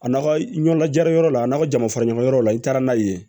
A n'a ka ɲɔgɔn lajayɔrɔ la n'a ka jama fara ɲɔgɔn la i taara n'a ye yen